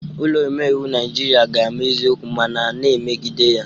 Ụlọ omeiwu Naijiria ga-ama eziokwu ma na na-emegide ya